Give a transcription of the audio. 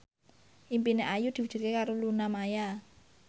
impine Ayu diwujudke karo Luna Maya